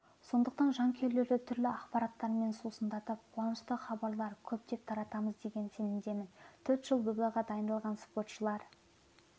сондықтан жанкүйерлерді түрлі ақпараттармен сусындатып қуанышты хабарлар көптеп таратамыз деген сенімдемін төрт жыл додаға дайындалған спортшылар